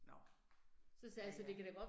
Nåh, ja ja